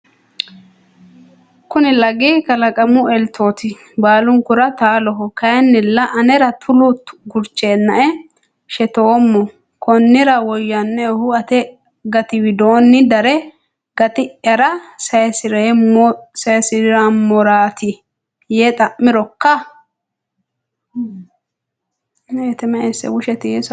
Kuni lagi kalaqamu eltooti. Baalunkura taaloho. Kayinnilla anera tolu gurcheennae shetoommo. Konnira woyyannoehu ate gati widoonni dare gati’yara saysi’rummorooti.” yee xa’mi’roka?